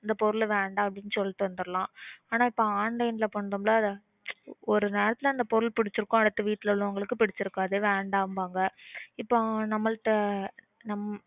அந்த பொருள வேண்டாம்னு சொல்லிட்டு வந்தரலாம். ஆனா அப்போ online ல பண்றோம்ல ஒரு நேரத்துல அந்த பொருள் பிடிச்சுருக்கும் அடுத்து வீட்ல உள்ளவங்களுக்கு பிடிச்சுருக்காது வேண்டாம்பாங்க இப்போ நம்மள்ட்ட நம்ம